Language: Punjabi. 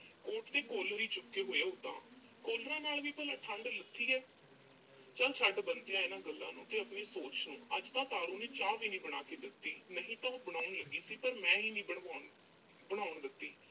coat ਦੇ collar ਹੀ ਚੁੱਕੇ ਹੋਏ ਆ ਓਦਾਂ। collars ਨਾਲ ਵੀ ਭਲਾਂ, ਠੰਢ ਲੱਥੀ ਐ। ਚੱਲ ਛੱਡ ਬੰਤਿਆ ਇਨ੍ਹਾਂ ਗੱਲਾਂ ਨੂੰ ਤੇ ਆਪਣੀ ਸੋਚ ਨੂੰ। ਅੱਜ ਤਾਂ ਤਾਰੋ ਨੇ ਚਾਹ ਵੀ ਨੀਂ ਬਣਾ ਕੇ ਦਿੱਤੀ। ਨਹੀਂ ਤਾਂ ਉਹ ਬਣਾਉਣ ਲੱਗੀ ਸੀ, ਪਰ ਮੈਂ ਹੀ ਨੀਂ ਬਣਵਾਉਣ ਅਹ ਬਣਾਉਣ ਦਿੱਤੀ।